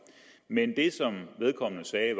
men det som vedkommende sagde